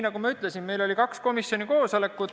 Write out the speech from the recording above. Nagu ma ütlesin, oli meil kaks komisjoni koosolekut.